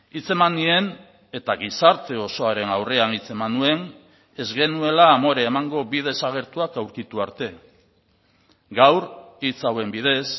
hitzeman nien eta gizarte osoaren aurrean hitzeman nuen ez genuela amore emango bi desagertuak aurkitu arte gaur hitz hauen bidez